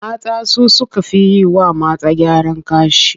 Mata su suka fi yi wa mata gyaran gashi.